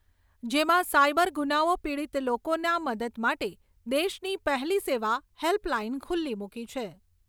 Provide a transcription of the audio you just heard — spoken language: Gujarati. જેમાં સાઇબર ગુનાઓ પીડીત લોકોના મદદ માટે દેશની પહેલી સેવા હેલ્પ લાઇન ખુલ્લી મુકી છે.